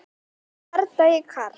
Bardagi Karls